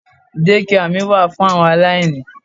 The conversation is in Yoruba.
Dékià mi wà fún àwọn aláìní.